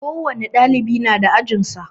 Ko wani dalibi na da ajin sa.